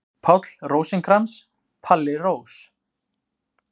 Páll Rósinkrans, Palli Rós.